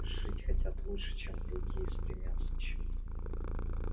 жить хотят лучше чем другие стремятся к чему-то